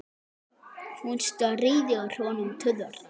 Hún stríðir honum tuðran.